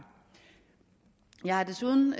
jeg har desuden